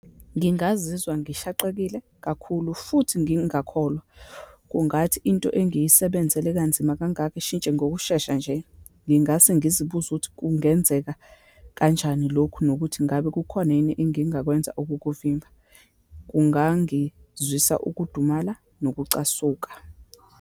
Ngingazizwa ngishaqekile kakhulu, futhi ngingakholwa. Kungathi into engiyisebenzele kanzima kangaka ishintshe ngokushesha nje, ngingase ngizibuze ukuthi kungenzeka kanjani lokhu, nokuthi ingabe kukhona yini engingakwenza ukukuvimba, kungangizwisa ukudumala, nokucasuka.